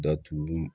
Datugu